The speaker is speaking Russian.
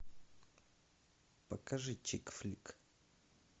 покажи чик флик